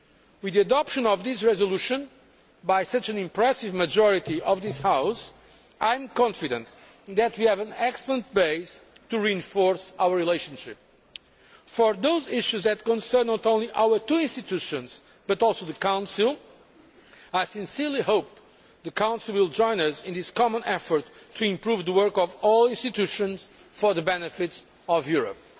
With the adoption of this resolution by such an impressive majority of this House, I am confident that we have an excellent base for reinforcing our relationship. For those issues that concern not only our two institutions but also the Council, I sincerely hope the Council will join us in this common effort to improve the work of all the institutions for the benefit of Europe.